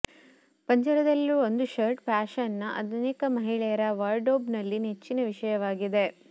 ಪಂಜರದಲ್ಲಿರುವ ಒಂದು ಶರ್ಟ್ ಫ್ಯಾಷನ್ನ ಅನೇಕ ಮಹಿಳೆಯರ ವಾರ್ಡ್ರೋಬ್ನಲ್ಲಿ ನೆಚ್ಚಿನ ವಿಷಯವಾಗಿದೆ